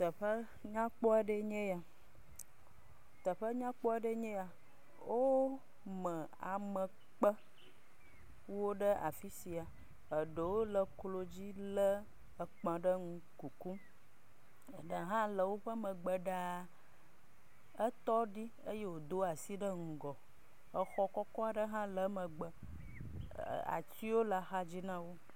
Teƒe nyakpɔ aɖe ye nye ya. Teƒe nyakpɔ aɖe nye ya, wome amekpe ɖe afi sia, eɖe wo le eklo dzi le ekp0 ɖe ŋu kukum, da ha le eƒe me gbe ɖa. Etɔ ɖi eye wodo asi ɖe ŋgɔ. Exɔ kɔkɔ ɖe hã le emegbe. Ati le axadzi nawo.